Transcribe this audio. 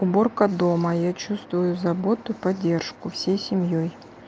уборка дома я чувствую заботу и поддержку всей семьёй